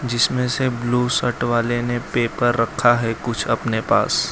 जिसमें से blue shirt वाले ने पेपर रखा है कुछ अपने पास।